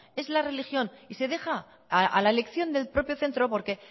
es la religión y se deja a la elección del propio centro porque